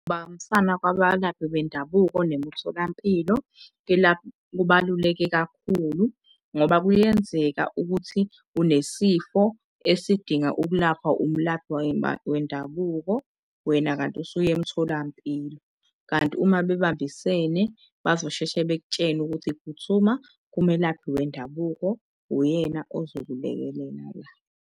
Ukubambisana kwabalaphi bendabuko nemitholampilo kubaluleke kakhulu ngoba kuyenzeka ukuthi unesifo esidinga ukulaphwa umlaphi wendabuko, wena, kanti usuyemtholampilo. Kanti uma bebambisene bazosheshe bekutshene ukuthi phuthuma kumelaphi wendabuko uyena ozokulekelela la.